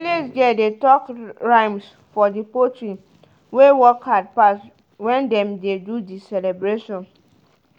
village girl dey talk rhymes for the poultry wey work hard pass when dem dey do the celebration.